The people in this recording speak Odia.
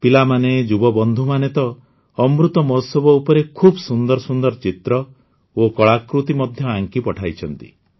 ପିଲାମାନେ ଯୁବବନ୍ଧୁମାନେ ତ ଅମୃତ ମହୋତ୍ସବ ଉପରେ ଖୁବ ସୁନ୍ଦର ସୁନ୍ଦର ଚିତ୍ର ଓ କଳାକୃତି ମଧ୍ୟ ଆଙ୍କି ପଠାଇଛନ୍ତି